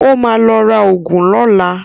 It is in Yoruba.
Ó ma lọ ra ògùn lọ́la